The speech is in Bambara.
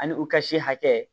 Ani u ka se hakɛ